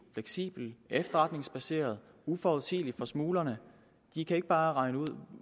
fleksibelt efterretningsbaseret og uforudsigeligt for smuglerne de kan ikke bare regne ud